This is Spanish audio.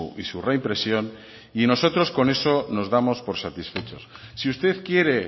y su reimpresión y nosotros con eso nos damos por satisfechos si usted quiere